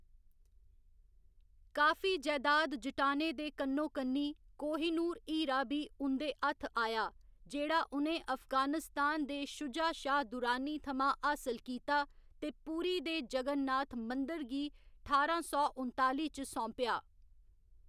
काफी जैदाद जुटाने दे कन्नोकन्नी, कोहिनूर हीरा बी उं'दे हत्थ आया, जेह्‌‌ड़ा उ'नें अफगानिस्तान दे शुजा शाह दुर्रानी थमां हासल कीता ते पुरी दे जगन्नाथ मंदर गी ठारां सौ उनताली च सौंपेआ।